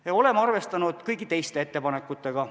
Me oleme arvestanud ka kõigi teiste ettepanekutega.